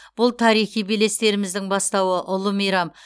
бұл тарихи белестеріміздің бастауы ұлы мейрам